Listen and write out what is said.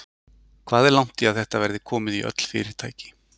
Hvað er langt í að þetta verði komið í öll fyrirtæki?